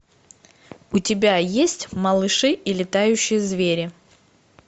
у тебя есть малыши и летающие звери